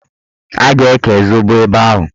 A ga-eke zobo ebe ahụ.